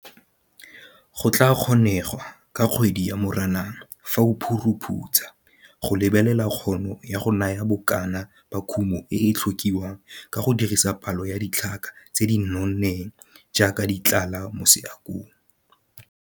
Go ka kgonegwa ka kgwedi ya Moranang, fa o phuruphutsa, go lebelela kgono ya go naya bokana ba kumo e e tlhokiwang ka go dirisa palo ya ditlhaka tse di nonneng jaaka di tlala mo seakong.